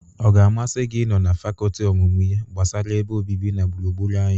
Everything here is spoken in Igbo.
Ọ ga-amasị gi ị nọ na fakọltị ọmụmụ ihe gbasara ebe obibi na gburugburu anyị?